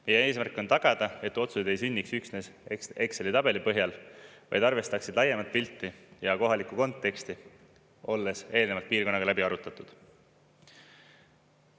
Meie eesmärk on tagada, et otsuseid ei sünniks üksnes Exceli tabeli põhjal, vaid arvestaksid laiemat pilti ja kohalikku konteksti, olles eelnevalt piirkonnaga läbi arutatud.